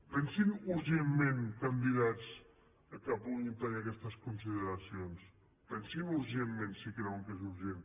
pensin urgentment en candidats que puguin tenir aquestes consideracions pensin urgentment si creuen que és urgent